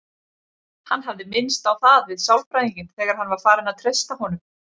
Hann hafði minnst á það við sálfræðinginn þegar hann var farinn að treysta honum.